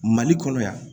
Mali kɔnɔ yan